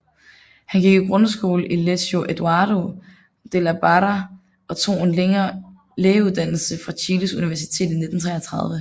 Han gik i grundskole på Liceo Eduardo de la Barra og tog en lægeuddannelse fra Chiles Universitet i 1933